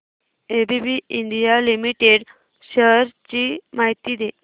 ABB India limited shares ची माहिती दे